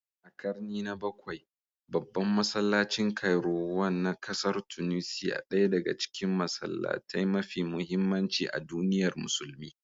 A karni na 7, babban masallacin Kairouan na kasar Tunisiya, ɗaya daga cikin masallatai mafi muhimmanci a duniyar musulmi.